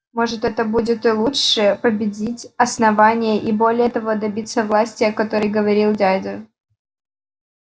может это будет и лучше победить основание и более того добиться власти о которой говорил дядя